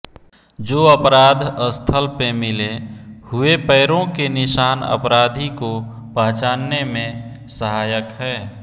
जो अपराध स्थल पे मिले हुए पैरों के निशान अपराधी को पहचानने में सहायक है